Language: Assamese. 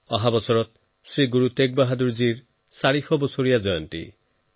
অহা বছৰ শ্ৰী গুৰু টেগবাহাদুৰ জীৰ ৪০০সংখ্যক আৱিৰ্ভাৱ পৰ্ব